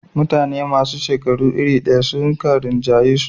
mutane masu shekaru iri daya suka rinjayisu